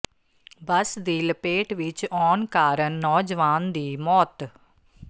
ਬੱਸ ਦੀ ਲਪੇਟ ਵਿੱਚ ਆਉਣ ਕਾਰਨ ਨੌਜਵਾਨ ਦੀ ਮੌਤ